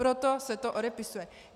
Proto se to odepisuje.